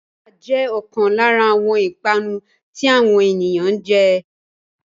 Písà jẹ́ ọ̀kan lára àwọn ìpanu tí àwọn ènìyàn jẹ